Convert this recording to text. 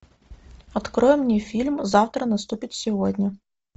открой мне фильм завтра наступит сегодня